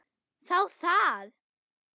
Þá það!